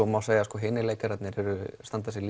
má segja að hinir leikararnir standa sig